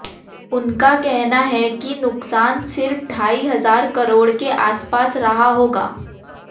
उनका कहना है कि नुकसान सिर्फ ढाई हज़ार करोड़ के आसपास रहा होगा